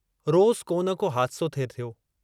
रोज़ को न को हादिसो थे थियो।